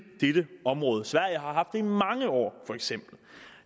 dette område sverige har i mange år